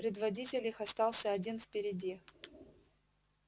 предводитель их остался один впереди